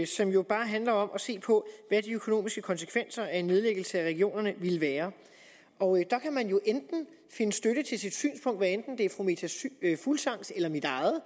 som jo bare handler om at se på hvad de økonomiske konsekvenser af en nedlæggelse af regionerne ville være og der kan man jo enten finde støtte til sit synspunkt hvad enten det er fru meta fuglsangs eller mit eget